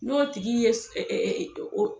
N'o tigi ye s ɛ ɛ o